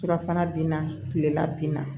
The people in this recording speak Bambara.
Fura fana ben na kilela ben na